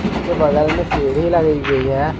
उसके बगल में सीढ़ी लगी हुई है।